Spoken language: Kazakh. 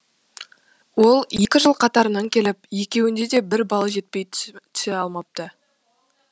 ол екі жыл қатарынан келіп екеуінде де бір балы жетпей түсе алмапты